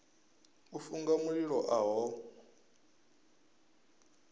u funga mililo a ho